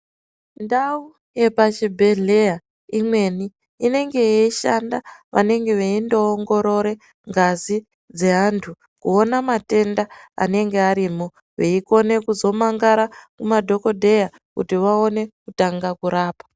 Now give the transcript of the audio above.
Ndau yepachibhedhleya imweni inenge yeishanda vanenge veindoongorore ngazi dzeantu kuona matenda anenge arimo veikone kuzomangara kumadhokodheya kuti vaone kutanga kurapa.